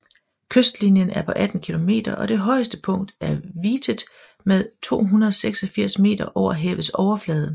Kystlinjen er på 32 km og det højeste punkt er Vitet med 286 meter over havets overflade